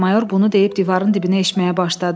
Mayor bunu deyib divarın dibinə eşməyə başladı.